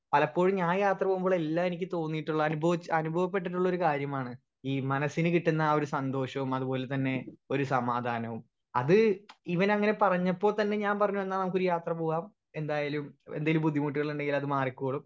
speaker 1 പലപ്പോഴും ഞാൻ യാത്ര പോവുമ്പളെല്ലാം എനിക്ക് തോനീട്ട്ള്ള അനുഭവിച്ച അനുഭവപെട്ടിട്ടുള്ളൊരു കാര്യമാണ് ഈ മനസിന് കിട്ടുന്ന ആ ഒരു സന്തോഷോം അതുപോലതന്നെ ഒരു സമാധാനോം അത് ഇവനങ്ങനെ പറഞ്ഞപ്പോ തന്നെ ഞാൻ പറഞ്ഞു എന്നാ നമ്മുക്കൊരു യാത്ര പോവാം എന്തായാലും എന്തേലും ബുദ്ധിമുട്ടുകളുണ്ടേൽ അത് മാറിക്കോളും